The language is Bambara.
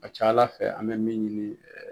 A ca Ala fɛ an mɛ min ɲini